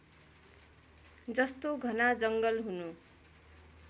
जस्तो घना जङ्गल हुनु